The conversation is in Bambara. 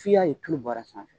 F'i y'a ye tulu bɔr'a kan.